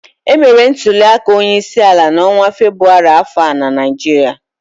Emere ntuliaka onyeisiala n'ọnwa Febụwarị afọ a na Naịjirịa